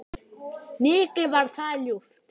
Mikið var það ljúft.